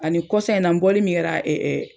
Ani kɔsan in na n bɔli min kɛra